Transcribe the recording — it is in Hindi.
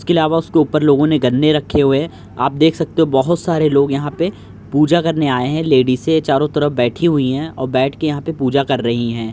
इसके अलावा उसके ऊपर लोगो ने गन्ने रखे हुए है। आप देख सकते है बहुत सारे लोग यहाँ पे पूजा करने आये हैं। लेडीजे चारो तरफ बैठी हुयी हैं और बैठ के यहाँ पे पूजा कर रही हैं।